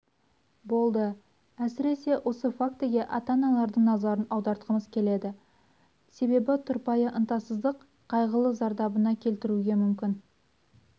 болды әсіресе осы фактіге ата-аналардың назарын аудартқымыз келеді себебі тұрпайы ынтасыздық қайғылы зардабына келтіруге мүмкін